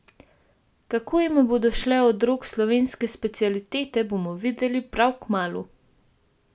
Kako jima bodo šle od rok slovenske specialitete, bomo videli prav kmalu!